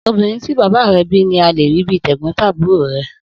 Obìnrin tí bàbá re bí ní a lè rí bíi tẹ̀gbón-tàbúro rẹ